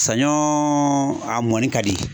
Saɲɔɔ a mɔni ka di.